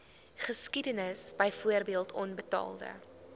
geskiedenis byvoorbeeld onbetaalde